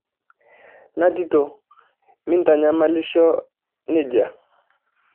Natito mintanyamalisho nejia.